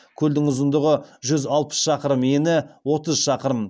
көлдің ұзындығы жүз алпыс шақырым ені отыз шақырым